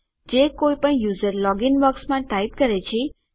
જે કઈ પણ યુઝર લોગીન બોક્સમાં ટાઈપ કરે છે તે નાના અક્ષરોમાં બદલવાની જરૂર છે